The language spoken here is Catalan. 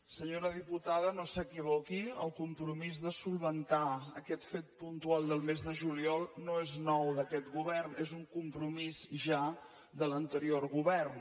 senyora diputada no s’equivoqui el compromís de solucionar aquest fet puntual del mes de juliol no és nou d’aquest govern és un compromís ja de l’anterior govern